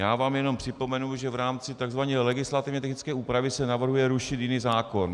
Já vám jenom připomenu, že v rámci tzv. legislativně technické úpravy se navrhuje rušit jiný zákon.